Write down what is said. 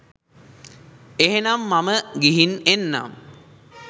එහෙනම් මම ගිහින් එන්නම්